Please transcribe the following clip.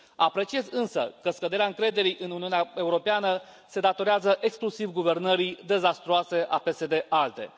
Apreciez, însă, că scăderea încrederii în Uniunea Europeană se datorează exclusiv guvernării dezastruoase a PSD ALDE.